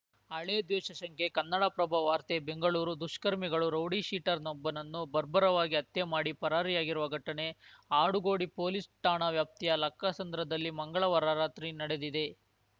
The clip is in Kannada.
ಹಳೆ ದ್ವೇಷ ಶಂಕೆ ಕನ್ನಡಪ್ರಭ ವಾರ್ತೆ ಬೆಂಗಳೂರು ದುಷ್ಕರ್ಮಿಗಳು ರೌಡಿಶೀಟರ್‌ನೊಬ್ಬನನ್ನು ಬರ್ಬರವಾಗಿ ಹತ್ಯೆ ಮಾಡಿ ಪರಾರಿಯಾಗಿರುವ ಘಟನೆ ಆಡುಗೋಡಿ ಪೊಲೀಸ್‌ ಠಾಣಾ ವ್ಯಾಪ್ತಿಯ ಲಕ್ಕಸಂದ್ರದಲ್ಲಿ ಮಂಗಳವಾರ ರಾತ್ರಿ ನಡೆದಿದೆ